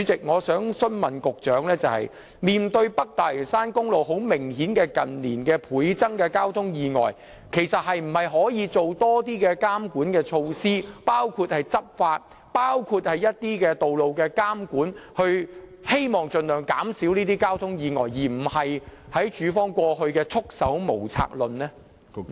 我想問局長，面對北大嶼山公路近年明顯倍增的交通意外，可否多做一些監管措施，包括執法工作及道路監管工作，以期盡量減少交通意外，而非像當局過往所說是束手無策呢？